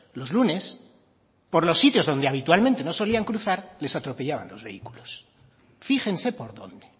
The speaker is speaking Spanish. los lunes por los sitios donde habitualmente no solían cruzar les atropellaban los vehículos fíjense por dónde